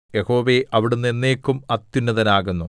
യഹോവേ അവിടുന്ന് എന്നേക്കും അത്യുന്നതനാകുന്നു